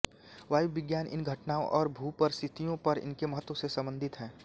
वायुविज्ञान इन घटनाओं और भूपरिस्थियों पर इनके महत्व से संबंधित है